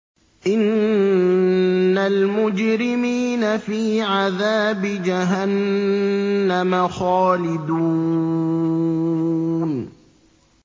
إِنَّ الْمُجْرِمِينَ فِي عَذَابِ جَهَنَّمَ خَالِدُونَ